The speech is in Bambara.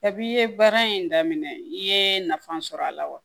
Kab'i ye baara in daminɛ i ye nafa sɔrɔ a la wa